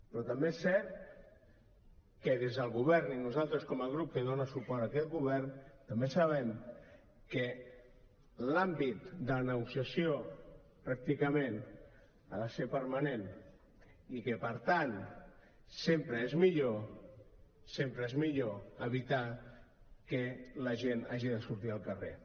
però també és cert que des del govern i nosaltres com a grup que dona suport a aquest govern també sabem que l’àmbit de negociació pràcticament ha de ser permanent i que per tant sempre és millor sempre és millor evitar que la gent hagi de sortir al carrer